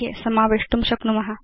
मध्ये समावेष्टुं शक्नुम